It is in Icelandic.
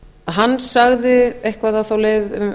hann sagði eitthvað á þá leið